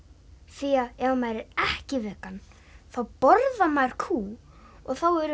því ef maður er ekki vegan þá borðar maður kú og þá eru